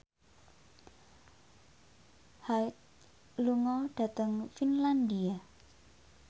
Hyde lunga dhateng Finlandia